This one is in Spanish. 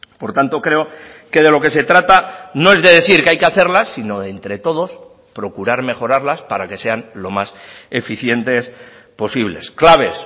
por tanto creo que de lo que se trata no es de decir que hay que hacerlas sino entre todos procurar mejorarlas para que sean lo más eficientes posibles claves